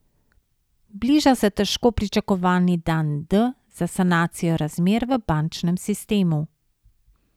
Bliža se težko pričakovani dan D za sanacijo razmer v bančnem sistemu.